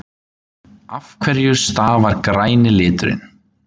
Af hverju stafar græni liturinn?